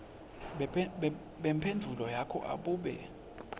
bemphendvulo yakho abube